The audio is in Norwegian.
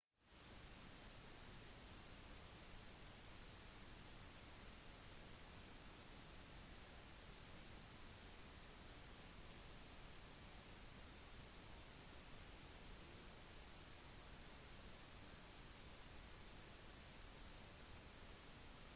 den syvende oktober løsnet en motor under avgang uten at noen ble skadet russland innførte flyforbud for il-76s i en kort periode etter ulykken